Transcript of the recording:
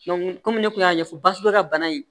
kɔmi ne kun y'a ɲɛfɔ basugu ka bana ye